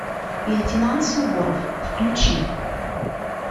лейтенант суворов включи